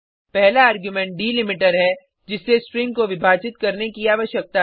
पहला argument delimiter है जिससे स्ट्रिंग को विभाजित करने की आवश्यकता है